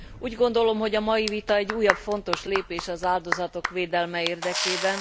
Úgy gondolom, hogy a mai vita egy újabb fontos lépés az áldozatok védelme érdekében.